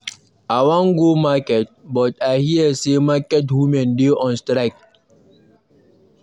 I wan go market but I hear say market women dey on strike.